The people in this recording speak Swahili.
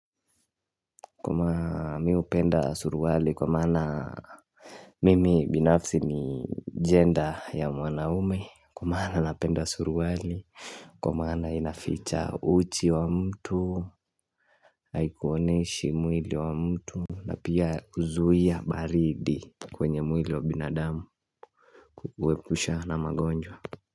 Mimi hupenda suruali kwa maana Mimi binafsi ni jenda ya mwanaume kwa maana napenda suruali Kwa maana inaficha uchi wa mtu Haikuoneishi mwili wa mtu na pia huzuia baridi kwenye mwili wa binadamu Kukuepusha na magonjwa.